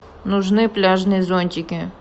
нужны пляжные зонтики